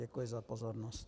Děkuji za pozornost.